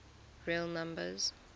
real numbers